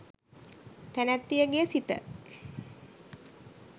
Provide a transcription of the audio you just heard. තැනැත්තියගේ සිත